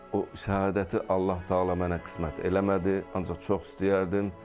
O səadəti Allah təala mənə qismət eləmədi, ancaq çox istəyərdim.